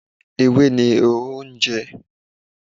Ewé ni Ehoro ń jẹ.